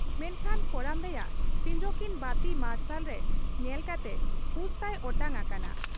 ᱢᱮᱱᱠᱷᱟᱱ ᱠᱚᱲᱟᱢ ᱨᱮᱭᱟᱜ ᱥᱤᱧᱡᱚᱠᱤᱱ ᱵᱟᱹᱛᱤ ᱢᱟᱨᱥᱟᱞᱨᱮ ᱧᱮᱞ ᱠᱟᱛᱮ ᱦᱩᱥᱛᱟᱭ ᱚᱴᱟᱝ ᱟᱠᱟᱱᱟ ᱾